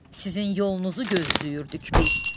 Sizin yolunuzu gözləyirdik biz.